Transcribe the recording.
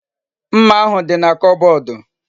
Mma ahu di na kobodu